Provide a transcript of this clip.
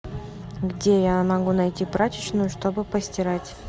где я могу найти прачечную чтобы постирать